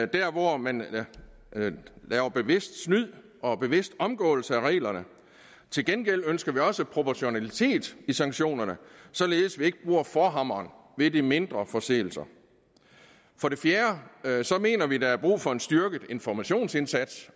der hvor man laver bevidst snyd og bevidst omgåelse af reglerne til gengæld ønsker vi også proportionalitet i sanktionerne således at vi ikke bruger forhammeren ved de mindre forseelser for det fjerde mener vi der er brug for en styrket informationsindsats